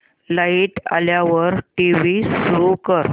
light आल्यावर TV सुरू कर